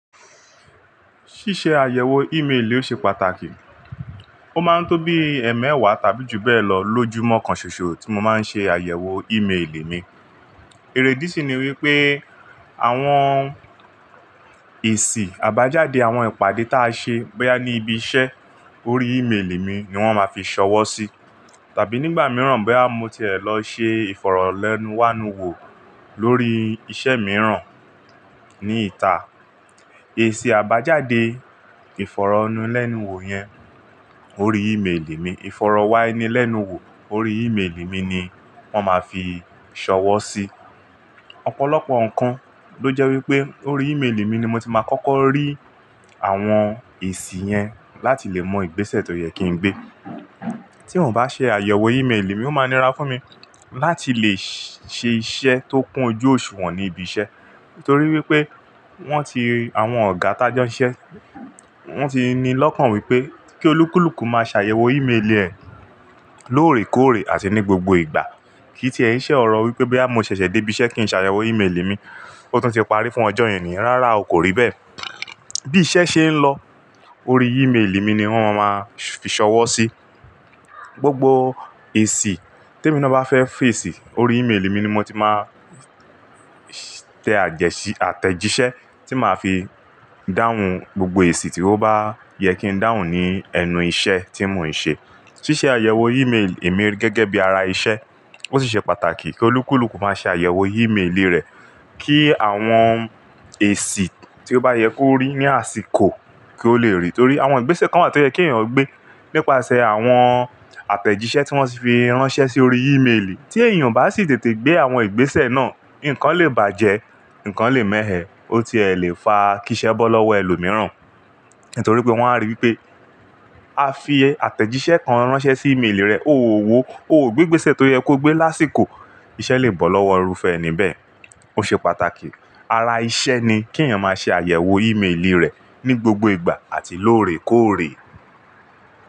Ṣíṣe àyẹ̀wò ìméèlì o ṣe pàtàkì. Ó máa ń tó bí ẹẹ́mẹ́wàá tàbí jù bẹ́ẹ̀ lọ lójúmọ́ kan ṣoṣo tí mo máa ń ṣe àyẹ̀wò ìméèlì mi. Idí sí ni wípé àwọn èsì àbájáde àwọn ìpàdé ta a ṣe bóyá ní ibi iṣẹ́ orí ìméèlì mi ni wón máa fi ṣọwọ́ sí. Tàbí nígbà mìíràn bóyá mo ti è lọ ṣe ìfọ̀rọ̀ lẹ́nu wanu wò lórí ìṣe mìíràn ní ìta. Èsì àbájáde ìfọ̀rọ̀ ẹnu lẹ́nu wò yẹn orí ìméèlì mi, ìfọ̀rọ̀ wá ẹni lẹ́nu wò orí ìméèlì mi ni wón máa fi ṣọwọ́ sí. Ọ̀pọ̀lọpọ̀ nǹkan ló jẹ́ wípé orí ìméèlì mi ni mo ti máa kọ́kọ́ rí àwọn èsì yẹn láti lè mọ ìgbésẹ̀ tó yẹ kí n gbé. Tí n o bá ṣe àyẹ̀wò ìméèlì mi ó máa nira fún mi láti lè ṣe iṣẹ́ tó kún ojú òṣùwọ̀n ní ibi iṣẹ́ torí wípé wón ti, àwọn ọ̀gá tajọ́ iṣẹ́, wón ti ni lọ́kàn wípé kí olúkúlùkù máa ṣàyẹ̀wò ìméèlì rẹ̀ lóòrèkóòrè àti ní gbogbo ìgbà. Kí tí ẹ n ṣẹ̀ ọ̀rọ̀ wípé bóyá mo ṣẹ̀ṣẹ̀ dé ibi iṣẹ́ kí n ṣàyẹ̀wò ìméèlì mi, ó tún ti parí fún ọjọ́ ènìyàn, rárá o kò rí bẹ́ẹ̀. Bí iṣẹ́ ṣe ń lọ orí ìméèlì mi ni wón máa maa fi ṣọwọ́ sí. Gbogbo èsì tí mi ní bá fẹ́ fẹ̀sì orí ìméèlì mi ni mo ti máa tẹ àtẹ̀jíṣẹ́ tí màá fi dáhùn gbogbo èsì tí ó bá yẹ kí n dáhùn ní ẹnu iṣẹ́ tí mò ń ṣe. Ṣíṣe àyẹ̀wò ìméèlì emi ri gẹ́gẹ́ bí ara iṣẹ́ ó sì ṣe pàtàkì kí olúkúlùkù máa ṣe àyẹ̀wò ìméèlì rẹ̀ kí àwọn èsì tí ó bá yẹ kó rí ní àsìkò kí ó le rí i. Torí àwọn ìgbésẹ̀ kan wà tó yẹ kí èèyàn gbé nípasẹ̀ àwọn àtẹ̀jíṣẹ́ tí wọ́n ti fi ránṣẹ́ sí orí ìméèlì. Tí èèyàn o bá sì tètè gbé àwọn ìgbésẹ̀ náà, ǹkan lè bàjẹ́, ǹkan lè mẹ̀ ẹ́, ó ti lè fa kí iṣẹ́ bọ́ lọ́wọ́ ẹlòmíràn. Nítorí pé wọ́n á rí i pé a fi àtẹ̀jíṣẹ́ kan ránṣẹ́ sí ìméèlì rẹ̀, ó ò wò ó, ó ò gbé ìgbésẹ̀ tó yẹ kó gbé lásìkò, iṣẹ́ lè bọ́ lọ́wọ́ irúfẹ́ ẹni bẹ́ẹ̀. Ó ṣe pàtàkì ara iṣẹ́ ni kí èèyàn máa ṣe àyẹ̀wò ìméèlì rẹ̀ ní gbogbo ìgbà àti lóòrèkóòrè.